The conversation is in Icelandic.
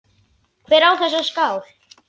Hver á þessa skál?